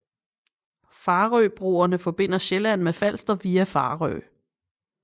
Farøbroerne forbinder Sjælland med Falster via Farø